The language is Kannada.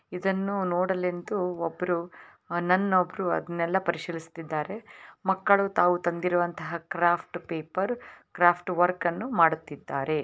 ಇದನ್ನು ನೋಡಲೆಂತು ಒಬ್ರು ನನ್ ಒಬ್ರು ಅದುನ್ನೆಲಾ ಪರಿಶೀಲಿಸುತ್ತಿದ್ದಾರೆ ಮಕ್ಕಳು ತಾವು ತಂದಿರುವಂತಹ ಕ್ರಾಫ್ಟ್ಸ್ ಪೇಪರ್ ಕ್ರಾಫ್ಟ್ವ ವರ್ಕ್ ಅನ್ನು ಮಾಡುತ್ತಿದ್ದಾರೆ.